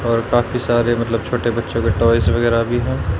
और काफी सारे मतलब छोटे बच्चों के टॉयज वगैरह भी हैं।